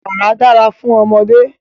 Wàrà dára fún ọmọdé.